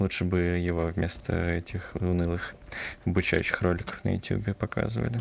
лучше бы его вместо этих унылых обучающих роликов на ютюбе показывали